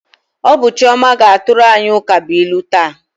Ọ bụ Chioma ga-atụrụ anyị ukabụilu taa.